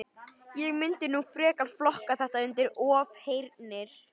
Ég mundi nú frekar flokka þetta undir ofheyrnir.